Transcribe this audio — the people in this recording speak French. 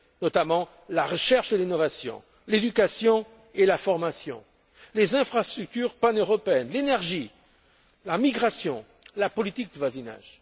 comme la recherche et l'innovation, l'éducation et la formation, les infrastructures paneuropéennes, l'énergie, la migration et la politique de voisinage.